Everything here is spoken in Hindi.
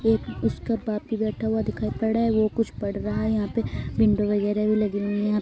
एक उसका बाप भी बैठा हुआ दिख पड़ रहा है वो कुछ पढ़ रहा है यहाँ पर विंडो वगैरहा भी लगी हुई है यहाँ --